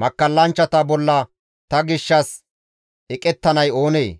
Makkallanchchata bolla ta gishshas eqettanay oonee?